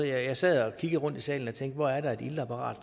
jeg sad og kiggede rundt i salen og tænkte hvor er der et iltapparat